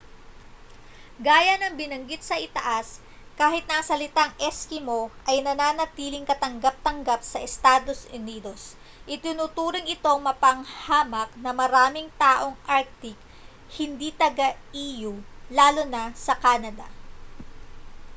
gaya ng binaggit sa itaas kahit na ang salitang eskimo ay nananatiling katanggap-tanggap sa estados unidos itinuturing itong mapanghamak ng maraming taong arctic hindi taga-e.u. lalo na sa canada